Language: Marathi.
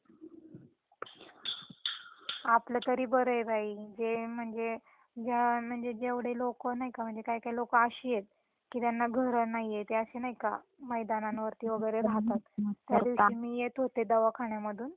आपलं तरी बरय बाई जे म्हणजे ज्या म्हणजे जेव्हडे लोक नाही का म्हणजे काही काही लोक अशीएत त्यांना घर नाहीये ते अस नाही का मैदानांवर राहतात त्या दिवशी मी येत होते दवाखान्यामधून